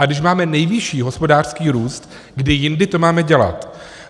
A když máme nejvyšší hospodářský růst, kdy jindy to máme dělat?